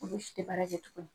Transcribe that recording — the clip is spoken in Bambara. Olu si tɛ bara tuguni